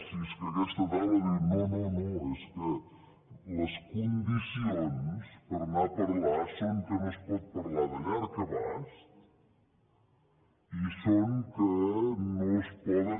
si és que a aquesta taula diu no no és que les condicions per anar a parlar són que no es pot parlar de llarg abast i són que no es poden